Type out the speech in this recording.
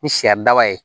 Ni siɲɛ daba ye